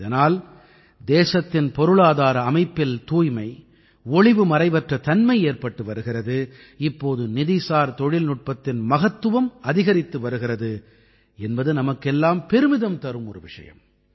இதனால் தேசத்தின் பொருளாதார அமைப்பில் தூய்மை ஒளிவுமறைவற்ற தன்மை ஏற்பட்டு வருகிறது இப்போது நிதிசார் தொழில்நுட்பத்தின் மகத்துவம் அதிகரித்து வருகிறது என்பது நமக்கெல்லாம் பெருமிதம் தரும் ஒரு விஷயம்